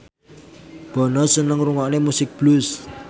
Bono seneng ngrungokne musik blues